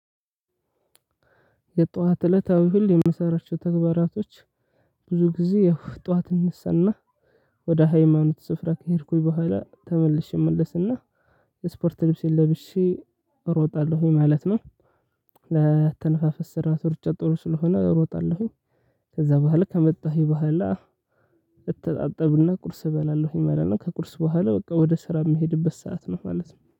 የጧት እለታዊ ሁሌ የምሰራቸው ተግባራቶች ብዙ ጊዜ ያው ጧት እነሳና ወደ ሃይማኖት ስፍራ ከሄድኩኝ በኋላ ተመልሼ እመለሰና የስፖርት ልብሴን ለብሼ እሮጣለሁኝ ማለት ነው። ለአተነፋፈስ ስርዓት ሩጫ ጥሩ ስለሆነ እሮጣለሁኝ። ከዛ በኋላ ካመጣኸኝ በኋላ እተጣጣብና ቁርስ እበላለሁ ማለት ከቁርስ በኋላ በቃ ወደ ስራ እምሄድበት ሰዓት ነው ማለት ነው